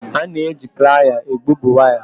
A na-eji Playa egbubi waya.